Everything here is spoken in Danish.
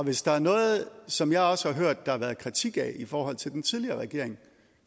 hvis der er noget som jeg også har hørt der har været kritik af i forhold til den tidligere regering